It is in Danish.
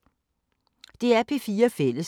DR P4 Fælles